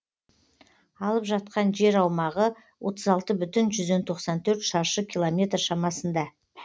алып жатқан жер аумағы шаршы километр шамасында